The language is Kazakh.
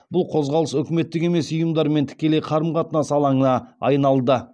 бұл қозғалыс үкіметтік емес ұйымдармен тікелей қарым қатынас алаңына айналды